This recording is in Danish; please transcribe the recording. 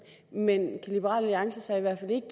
men kan liberal alliance så